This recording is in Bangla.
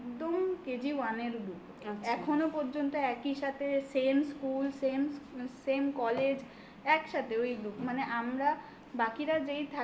KG one এর group আচ্ছা এখনো পর্যন্ত একই সাথে same , school , same , um same college একসাথে ওই group মানে আমরা বাকিরা যেই থাকি না থাকি